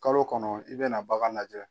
Kalo kɔnɔ i bɛna bagan lajɛ.